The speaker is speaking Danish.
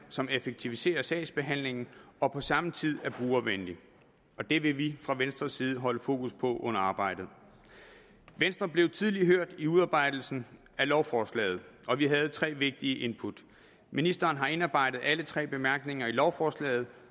som effektiviserer sagsbehandlingen og på samme tid er brugervenlig og det vil vi fra venstres side holde fokus på under arbejdet venstre blev tidligt hørt i udarbejdelsen af lovforslaget og vi havde tre vigtige input ministeren har indarbejdet alle tre bemærkninger i lovforslaget